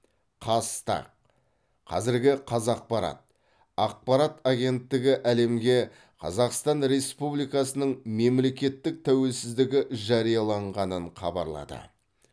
қазтаг қазіргі қазақпарат ақпарат агенттігі әлемге қазақстан республикасының мемлекеттік тәуелсіздігі жарияланғанын хабарлады